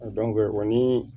o ni